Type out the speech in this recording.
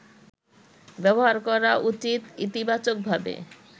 ব্যবহার করা উচিত ইতিবাচকভাবে